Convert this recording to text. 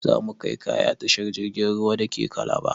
Za mu kai kaya tashar jirgin ruwa dake Calabar.